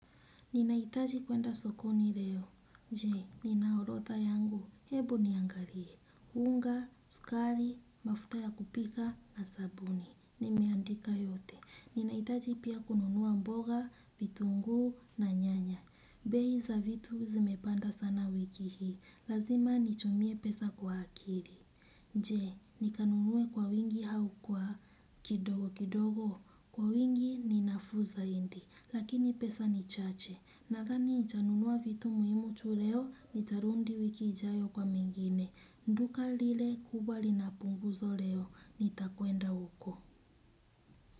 Ninahitaji kwenda sokoni leo. Je, ninaorotha yangu? Hebu niangarie. Hunga, sukari, mafuta ya kupika na sabuni. Nimeandika yote. Ninahitaji pia kununua mboga, vitungu na nyanya. Behi za vitu zimepanda sana wiki hii. Lazima nitumie pesa kwa akiri. Je, nikanunue kwa wingi hau kwa kidogo kidogo. Kwa wingi ninafuu zaindi. Lakini pesa nichache. Nathani nitanunua vitu muhimu tu leo, nitarundi wiki ijayo kwa mengine. Nduka lile kubwa lina punguzo leo, nitakwenda huko.